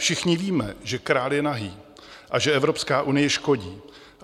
Všichni víme, že král je nahý a že Evropská unie škodí.